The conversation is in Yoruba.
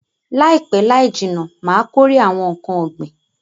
Laipe laijinna Ma kórè awon nkan ogbin